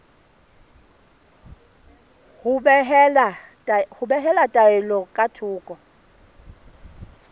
ho behela taelo ka thoko